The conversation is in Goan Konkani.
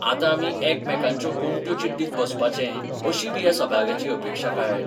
आतां आमी एकमेकांच्यो गोमट्यो चिड्डीत बसपाचें अशी बी ह्या सभाग्याची अपेक्षा काय?